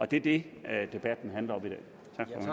det er det debatten handler